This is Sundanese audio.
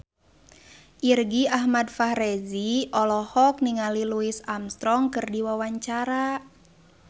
Irgi Ahmad Fahrezi olohok ningali Louis Armstrong keur diwawancara